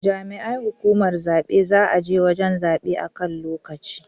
Jami'ai hukumar zabe za je wajan zabe a kan lokaci